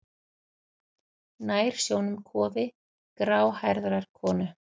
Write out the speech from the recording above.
Nær sjónum kofi gráhærðrar konu.